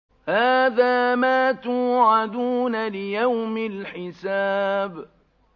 هَٰذَا مَا تُوعَدُونَ لِيَوْمِ الْحِسَابِ